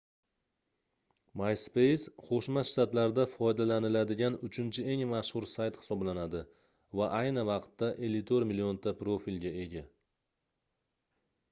myspace qoʻshma shtatlarda foydalaniladigan uchinchi eng mashhur sayt hisoblanadi va ayni vaqtda 54 millionta profilga ega